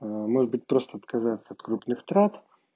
может быть просто отказаться от крупных трат